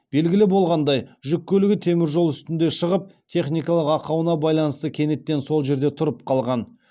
белгілі болғандай жүк көлігі темір жол үстінде шығып техникалық ақауына байланысты кенеттен сол жерде тұрып қалған